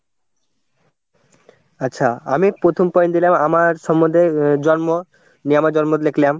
আচ্ছা আমি প্রথম point দিলাম আমার সম্বন্ধে জন্ম নিয়ে আমার জন্ম নিয়ে লিখলাম।